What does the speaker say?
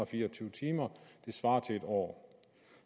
fire og tyve timer som svarer til en år